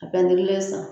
A bɛ n kelen san